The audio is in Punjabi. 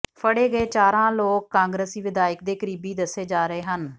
ਫੜੇ ਗਏ ਚਾਰਾਂ ਲੋਕ ਕਾਂਗਰਸੀ ਵਿਧਾਇਕ ਦੇ ਕਰੀਬੀ ਦੱਸੇ ਜਾ ਰਹੇ ਹਨ